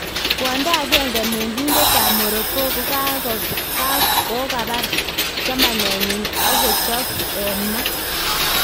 Kwondo agenge mengiindetab Morroco 'kokabaar chamanenyin ak kochoop en maa'